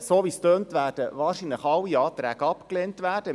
So wie es aussieht, werden wahrscheinlich alle Anträge abgelehnt werden.